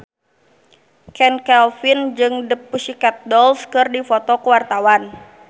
Chand Kelvin jeung The Pussycat Dolls keur dipoto ku wartawan